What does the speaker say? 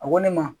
A ko ne ma